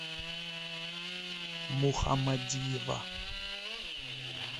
мухамадиева